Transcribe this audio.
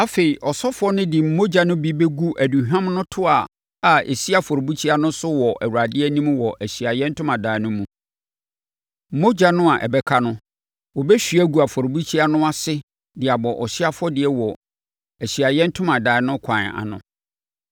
Afei, ɔsɔfoɔ no de mogya no bi bɛgu aduhwam no toa a ɛsi afɔrebukyia no so no wɔ Awurade anim wɔ Ahyiaeɛ Ntomadan no mu; mogya no a ɛbɛka no, wɔbɛhwie agu afɔrebukyia no ase de abɔ ɔhyeɛ afɔdeɛ wɔ Ahyiaeɛ Ntomadan no kwan ano.